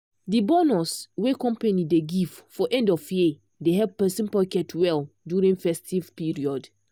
the bonus wey company dey give for end of year dey help person pocket well during festive period.